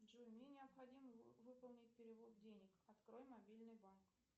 джой мне необходимо выполнить перевод денег открой мобильный банк